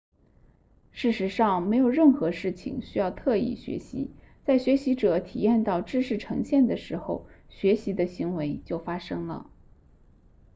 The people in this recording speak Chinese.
事实上没有任何事情需要特意学习在学习者体验到知识呈现的时候学习的行为就发生了